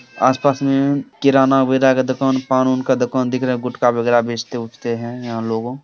आस-पास में किराना वगैरह का दुकान पान उन का दुकान दिख रहा है गुटखा वगैरह बेचते उचते हैं यहाँ लोगो --